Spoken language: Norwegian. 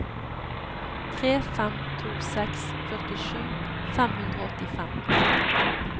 tre fem to seks førtisju fem hundre og åttifem